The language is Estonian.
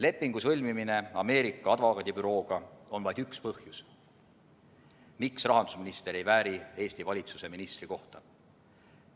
Lepingu sõlmimine Ameerika advokaadibürooga on vaid üks põhjus, miks rahandusminister ei vääri Eesti valitsuse ministri kohta.